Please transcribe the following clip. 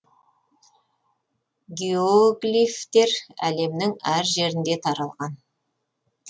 геоглифтер әлемнің әр жерінде таралған